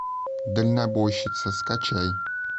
дальнобойщица скачай